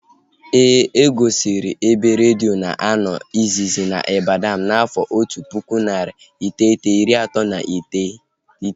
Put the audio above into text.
E gosiri ebe redio na-anọ izizi na Ibadan n'afọ otu pụkụ, narị iteghete, iri atọ na iteghete